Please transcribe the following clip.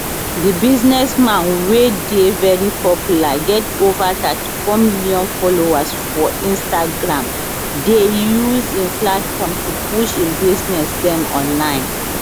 di businessman wey dey very popular get ova 34 million followers for instagram dey use im platform to push im business dem online